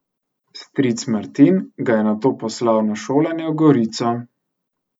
Stric Martin ga je nato poslal na šolanje v Gorico.